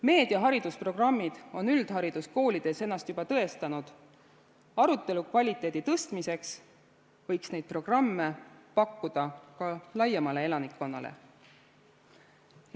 Meediaharidusprogrammid on üldhariduskoolides ennast juba tõestanud, arutelukvaliteedi tõstmiseks võiks neid programme pakkuda ka laiemale elanikkonnale.